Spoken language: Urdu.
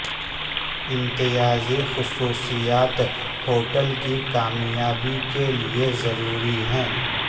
امتیازی خصوصیات ہوٹل کی کامیابی کے لیے ضرروی ہیں